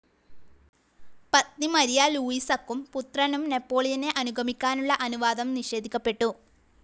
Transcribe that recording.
പത്നി മാരിയ ലൂയിസക്കും പുത്രനും നെപോളിയനെ അനുഗമിക്കാനുള്ള അനുവാദം നിഷേധിക്കപ്പെട്ടു.